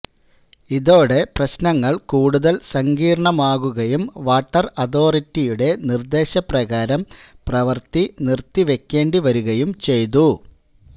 ഇതോടെ പ്രശ്നങ്ങള് കൂടുതല് സങ്കീര്ണമാകുകയും വാട്ടര് അതോറിറ്റിയുടെ നിര്ദേശപ്രകാരം പ്രവര്ത്തി നിര്ത്തിവെക്കേണ്ടിവരികയും ചെയ്തു